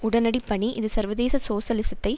உடனடிப்பணி இது சர்வதேச சோசலிசத்தை